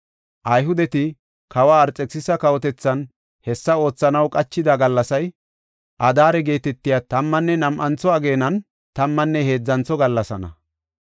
Ayhudeti kawa Arxekisisa kawotethan hessa oothanaw qachida gallasay, Adaare geetetiya tammanne nam7antho ageenan, tammanne heedzantho gallasaana.